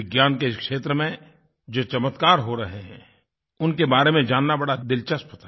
विज्ञान के क्षेत्र में जो चमत्कार हो रहे हैं उनके बारे में जानना बड़ा दिलचस्प था